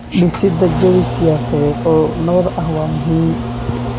Dhisida jawi siyaasadeed oo nabad ah waa muhiim.